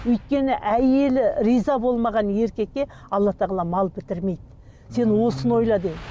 өйткені әйелі риза болмаған еркекке алла тағала мал бітірмейді сен осыны ойла деді